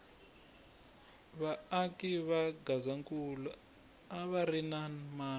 va aki va gazankula a va ri na mano